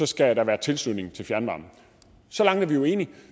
skal være tilslutning til fjernvarme så langt er vi jo enige